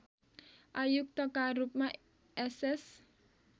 आयुक्तका रूपमा एसएस